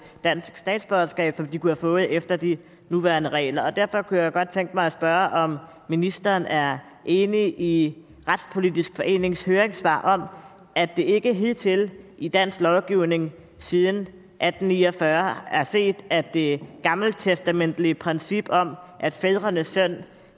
dansk statsborgerskab som de kunne have fået efter de nuværende regler derfor kunne jeg godt tænke mig at spørge om ministeren er enig i retspolitisk forenings høringssvar om at det ikke hidtil i dansk lovgivning siden atten ni og fyrre er set at det gammeltestamentlige princip om at fædrenes synd